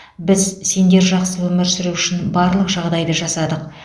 біз сендер жақсы өмір сүру үшін барлық жағдайды жасадық